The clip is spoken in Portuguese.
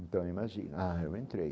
Então imagina, ah, eu entrei.